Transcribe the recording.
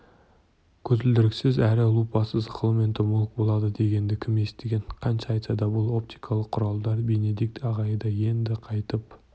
көзілдіріксіз әрі лупасыз ғалым-энтомолог болады дегенді кім естіген қанша айтса да бұл оптикалық құралдар бенедикт ағайға енді қайтып